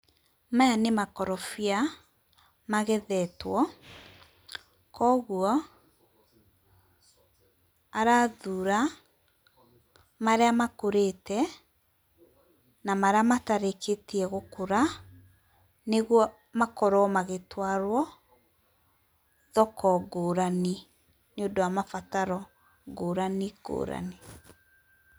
Maya nimakorofia magetheto kogwo arathura maria makuriite na maria matarikitie gukura niguo makorwo magitwarwo thoko ngurani niundu wa mabataro ngurani ngurani.